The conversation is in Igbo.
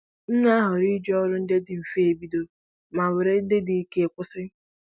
M na-ahọrọ iji ọrụ ndị dị mfe ebido ma were ndị dị ike kwụsị